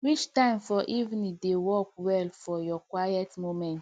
which time for evening dey work well for your quiet moments